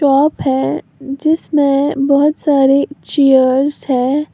Of है जिसमें बहुत सारी चेयर्स है।